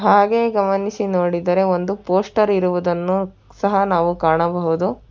ಹಾಗೆ ಗಮನಿಸಿ ನೋಡಿದರೆ ಒಂದು ಪೋಸ್ಟರ್ ಇರುವುದನ್ನು ಸಹ ನಾವು ಕಾಣಬಹುದು.